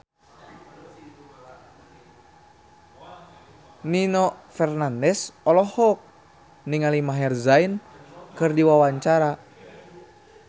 Nino Fernandez olohok ningali Maher Zein keur diwawancara